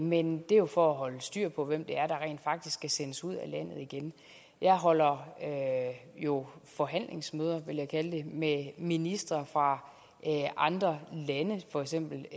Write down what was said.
men det er jo for at holde styr på hvem det er der rent faktisk skal sendes ud af landet igen jeg holder jo forhandlingsmøder vil jeg kalde det med ministre fra andre lande for eksempel